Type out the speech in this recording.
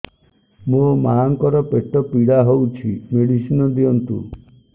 ମୋ ମାଆଙ୍କର ପେଟ ପୀଡା ହଉଛି ମେଡିସିନ ଦିଅନ୍ତୁ